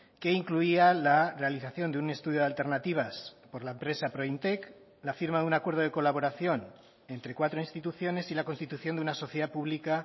que incluía la realización de un estudio de alternativas por la empresa prointec la firma de un acuerdo de colaboración entre cuatro instituciones y la constitución de una sociedad pública